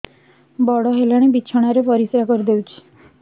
ବଡ଼ ହେଲାଣି ବିଛଣା ରେ ପରିସ୍ରା କରିଦେଉଛି